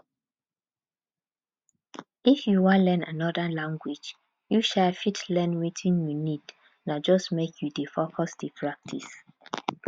if u wan learn anoda language u um fit learn wetin u need na just make u dey focused dey practise